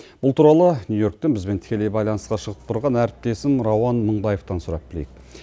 бұл туралы нью йорктен бізбен тікелей байланысқа шығып тұрған әріптесім рауан мыңбаевтан сұрап білейік